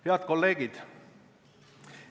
Head kolleegid!